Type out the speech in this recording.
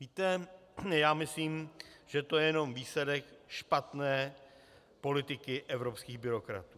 Víte, já myslím, že to je jenom výsledek špatné politiky evropských byrokratů.